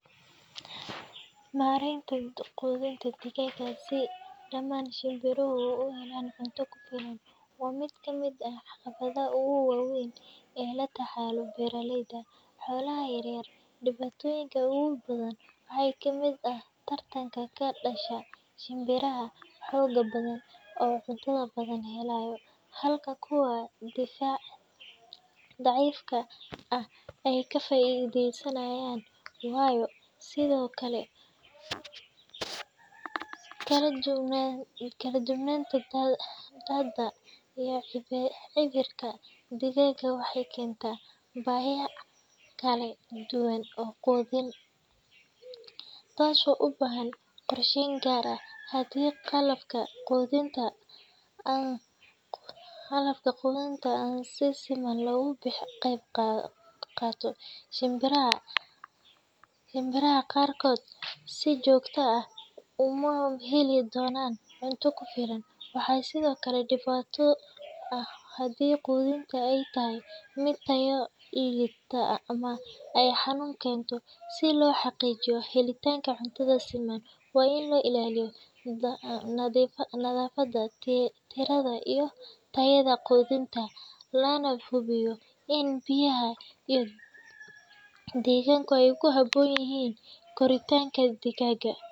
Mareynta quudinta digaaga si dhamaan shimbiruhu uu u cunaan cunta ku filan, waa mid kamid eh caqabadaha ugu waweyn ee la tacallo beeralayda ,xoolaha yaryar dhibatoyinka ugu badan waxaa kamid ah tartanka ka dhasha shimbiraha xooga badan oo nafaqada badan helayo ,halka kuwa daciifka ah ay ka faideysanayaan waayo . Sidokale kala duwnaanta hadda iyo cidirka digaaga waxey kentaa baahiyaha kala duwan oo quudin iyo tasoo u baahan qorsheyn gaar ah haddii qalabka quudinta aan si siman loogu qaato ,shimbiraha ,shimbiraha qarkood si joogta ah uma heli donaan cunta ku filan . Waxasidokale dhibato ah haddii quudinta ay tahay mid tayo liita ama ay xanuun keento . Si loo xaqiijiyo helitanka cuntada siman waa in la ilaaliyo nadafada tirada iyo tayada quudinta lana hubiyo in biyaha iyo degaanka ay ku habbbon yihiin koritaanka digaaga .